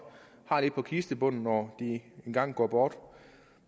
og har lidt på kistebunden når de engang går bort